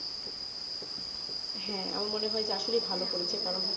হেঁ আমার মনে হয়ে আসলে ভালো করেছে